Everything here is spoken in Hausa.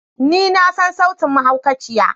Ni na sani sautin mahaukaciya.